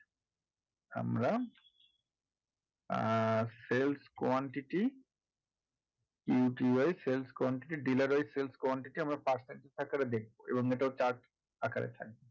আমরা ah sales quantity . wise sales quantity dealer wise sales quantity আমরা percentage আকারে দেখবো এবং এটাও chart আকারে থাকবে